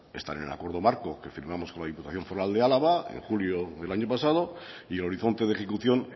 está en el acuerdo marco que firmamos con la diputación foral de álava en julio del año pasado y horizonte de ejecución